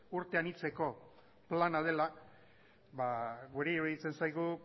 urte anitzeko plana dela guri iruditzen zaigu